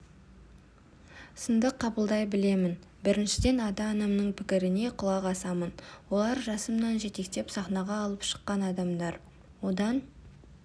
сынды қабылдай білемін біріншіден ата-анамның пікіріне құлақ асамын олар жасымнан жетектеп сахнаға алып шыққан адамдар одан